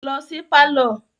Lọ si pálọ̀